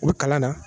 U bɛ kalan na